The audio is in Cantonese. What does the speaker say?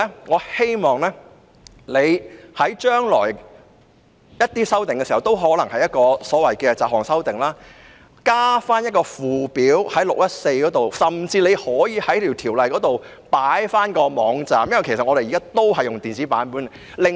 我希望她將來再作修訂時，例如再次提出雜項修訂，可以在第614章加入附表，甚至在條文中加入有關的網站，因為大家現時都是使用電子版本的。